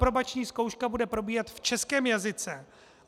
Aprobační zkouška bude probíhat v českém jazyce.